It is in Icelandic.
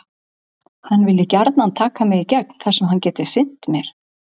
Hann vilji gjarnan taka mig í gegn þar sem hann geti sinnt mér.